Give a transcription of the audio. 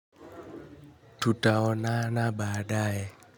Tutaonana baadae.